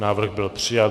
Návrh byl přijat.